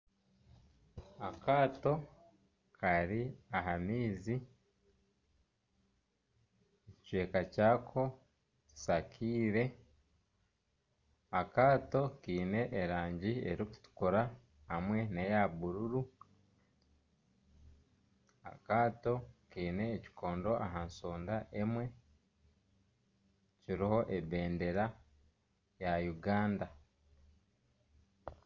Akaato kari aha maizi ekicweka kyako kishakire, akaato kiine erangi erikutuukura hamwe neya buruuru, akaato kiine ekikondo aha nshonda emwe kiriho ebendera ya Uganda.